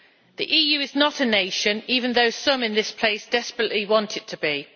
The EU is not a nation, even though some in this place desperately want it to be.